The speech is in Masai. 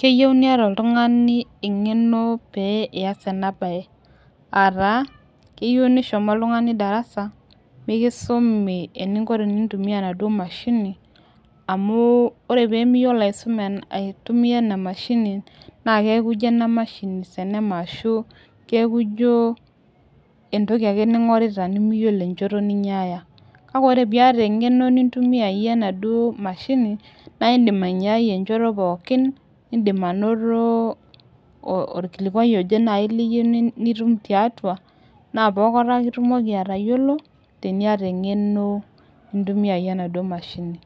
keyieu niata oltungani engeno pias ena bae, ata keyieu nishomo oltungani darasa, mikisumi eningo tenintumia ena mashini, amu ore pemiyiolo aisuma aitumia ena mashini niaku ijio ena mashini senema, ashu kiaku ijio entoki ake ningorita nemiyiolo enchoto ninyiaya, kake ore pe iyata engeno nintumiyayie enaduo mashini na indim ainyiai enchoto pooki indim anoto olkilikuai, oje nai liyieu naji liyieu tiatua, na pokata ake itumoki atayiolo na tenitum engeno nintumiayayie anaduo mashini